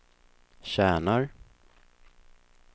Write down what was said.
tjänar